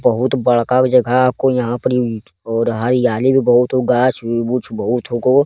बहुत बड़का गो जगह को यहां परी ओर हरयाली भी बहुत हो गाछ-उछ बहुत हउको।